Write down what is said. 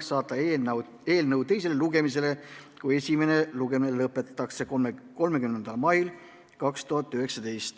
saata eelnõu teisele lugemisele, kui esimene lugemine lõpetatakse, 30. maiks 2019.